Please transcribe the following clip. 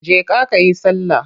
Je ka ka yi sallah!